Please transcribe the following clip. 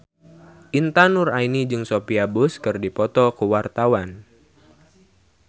Intan Nuraini jeung Sophia Bush keur dipoto ku wartawan